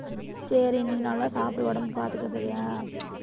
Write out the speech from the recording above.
சேரி நீ நல்லா சாப்பிடு உடம்பைப் பாத்துக்க சரியா